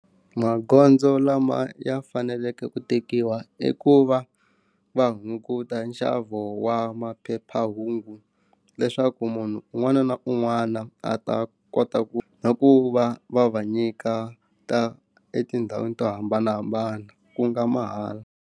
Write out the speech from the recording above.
Magondzo lama ya faneleke ku tekiwa i ku va va hunguta nxavo wa maphephahungu leswaku munhu un'wana na un'wana a ta kota ku na ku va va va nyika ta etindhawini to hambanahambana ku nga mahala.